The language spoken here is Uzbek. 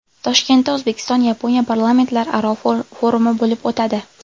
Toshkentda O‘zbekiston-Yaponiya parlamentlararo forumi bo‘lib o‘tadi.